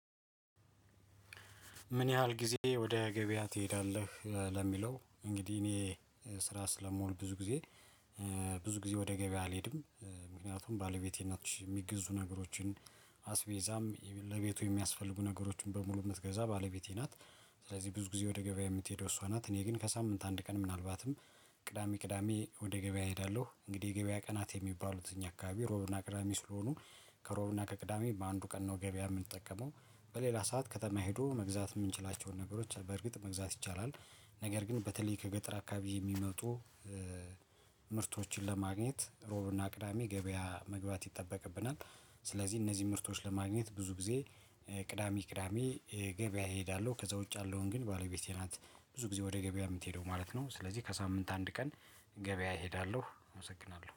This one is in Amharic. ምን ያህል ጊዜ ወደ ገበያ ትሄዳለህ? ለሚለው እንግዲህ እኔ ስራ ስለመሆን ብዙ ጊዜ ብዙ ጊዜ ወደ ገበያ አልሄድም። ምክንያቱም ባለቤቴ ናች የሚገዙ ነገሮችን አስቤዛም ለቤቱ የሚያስፈልጉ ነገሮችን በሙሉ እንድትገዛ ባለቤቴ ናት። ስለዚህ ብዙ ጊዜ ወደ ገበያ የምትሄደው እሷ ናት እኔ ግን ከሳምንት አንድ ቀን ምናልባትም ቅዳሜ ቅዳሜ ወደ ገበያ እሄዳለሁ። እንግዲህ የገበያ ቀናት የሚባሉትኝ እኛ አካባቢ ሮብና ቅዳሜ ስለሆኑ ከሮብና ከቅዳሜ በአንዱ ቀን ነው ገበያ የምንጠቀመው። በሌላ ሰዓት ከተማ ሄዶ መግዛት የምንችላቸውን ነገሮች በርግጥ መግዛት ይቻላል። ነገር ግን በተለይ ከገጠር አካባቢ የሚመጡ ምርቶችን ለማግኘት ሮብና ቅዳሜ ገበያ መግባት ይጠበቅብናል። ስለዚህ እነዚህ ምርቶች ለማግኘት ብዙ ጊዜ ቅዳሜ ቅዳሜ ገበያ እሄዳለሁ። ከዛ ውጭ ያለውን ግን ባለቤቴ ናት ብዙ ጊዜ ወደ ገበያ የምትሄደው ማለት ነው። ስለዚህ ከሳምንት አንድ ቀን ገበያ እሄዳለሁ። አመሰግናለሁ